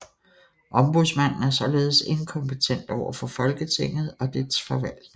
Ombudsmanden er således inkompetent over for Folketinget og dets forvaltning